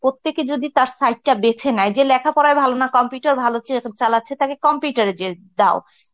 প্রত্যেকে যদি তার side টা বেছে নেয় যে লেখাপড়ায় ভালো না computer ভালো চে~ চালাচ্ছে তাকে computer এ যে~ দাও.